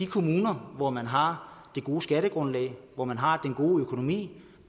kommuner hvor man har det gode skattegrundlag hvor man har den gode økonomi